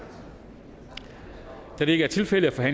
da det ikke er tilfældet er